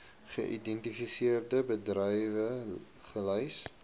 geïdentifiseerde bedrywe gelys